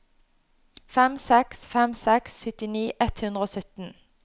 fem seks fem seks syttini ett hundre og sytten